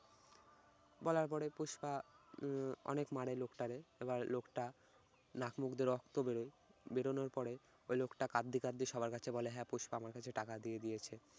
বলার পরে পুষ্পা উম অনেক মারে লোকটারে, এবার লোকটা নাক মুখ দিয়ে রক্ত বেরোয়, বেরোনোর পরে ওই লোকটা কাঁদতে কাঁদতে সবার কাছে বলে হ্যা পুষ্পা আমার কাছে টাকা দিয়ে দিয়েছে।